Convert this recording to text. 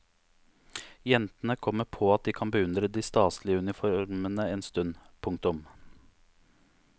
Jentene kommer på at de kan beundre de staselige uniformene en stund. punktum